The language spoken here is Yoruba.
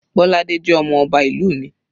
Bolade jẹ́ ọmọ ọba ìlú mi.